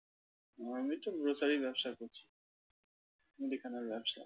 আমি তো grocery র ব্যবসা করছি। মুদিখানার ব্যবসা।